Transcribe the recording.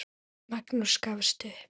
Magnús gafst upp.